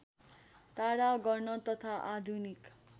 टाढा गर्न तथा आधुनिक